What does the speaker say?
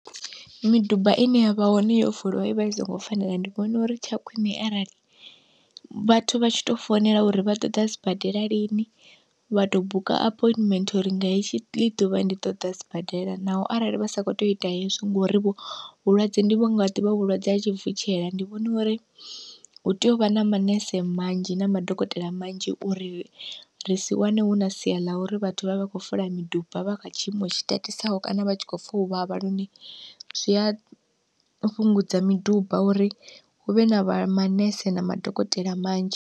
Miduba ine ya vha hone yo fuliwa ivha i songo fanela ndi vhona uri tsha khwine arali vhathu vha tshi to founela uri vha ṱoḓa sibadela lini vha to buka appointment uri nga hetshi ḽi ḓuvha ndi ṱoḓa sibadela, naho arali vha sa kho tea u ita hezwi ngori vho vhulwadze ndi vho nga ḓivha vhulwadze ha tshivutshela ndi vhona uri hu tea u vha na manese manzhi na madokotela manzhi uri ri si wane hu na sia ḽa uri vhathu vhavhe vha kho lwa miduba vha kha tshiimo tshi tatisaho kana vha tshi khou pfa uvhavha, lune zwi a fhungudza miduba uri huvhe na vha manese na madokotela manzhi.